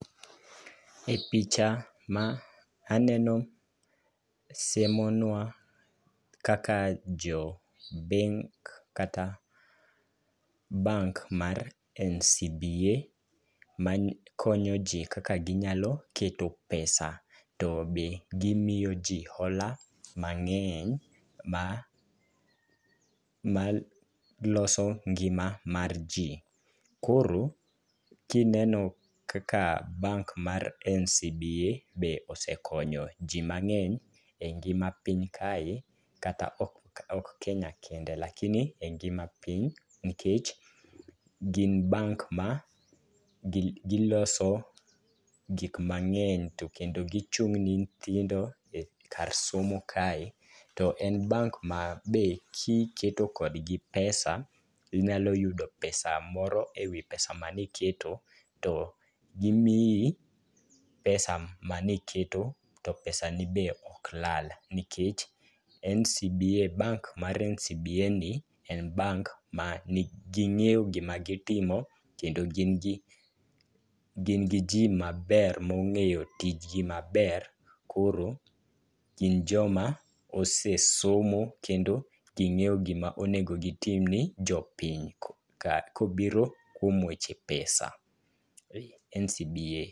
E picha ma aneno siemo nwa kaka jo benk kata bank mar NCBA makonyo jii kaka ginyalo keto pesa to be gimiyo jii hola mang'eny ma maloso ngima mar jii. Koro kineno kaka bank mar NCBA be osekonyo jii mang'eny e ngima piny kae kata ok kenya kende lakini e ngima piny nikech, gin bank ma gi giloso gik mang'eny to kendo gichung' ne nyithindo kar somo kae. To en bank ma kiketo kodgi pesa inyalo yudo pesa moro ewi pesa mani keto to gimiyi pesa maniketo to pesani be ok lal nkech NCBA bank mar NCBA en bank ma ging'eyo gima gitimo kendo gin gi gin gi jii maber mong'eyo tijgi maber koro gin joma osesomo kendo ging'eyo gima onego gitim ne jopiny ka kobiro kuom weche[ pesa NCBA.